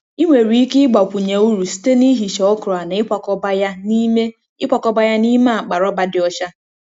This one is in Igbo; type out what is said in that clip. Ị nwere ike ịgbakwunye uru site na ihicha okra na ịkwakọba ya n'ime ịkwakọba ya n'ime akpa rọba dị ọcha.